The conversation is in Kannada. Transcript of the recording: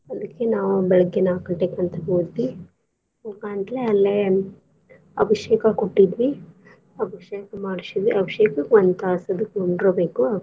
ಅದಕ್ಕೆ ನಾವ್ ಬೆಳಗ್ಗೇ ನಾಕ್ ಗಂಟೇಕಂತ ಹೋದ್ವಿ. ಹೋಗಾಂತ್ಲೆ ಅಲ್ಲೆ ಅಭಿಷೇಕ ಕೊಟ್ಟಿದ್ವಿ. ಅಭಿಷೇಕ್ ಮಾಡ್ಸಿದ್ರೆ ಅಭಿಷೇಕ್ ಒಂದ್ ತಾಸ್ ಅದು ಕುಂಡ್ರಬೇಕು.